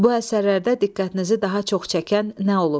Bu əsərlərdə diqqətinizi daha çox çəkən nə olub?